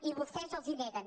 i vostès els la neguen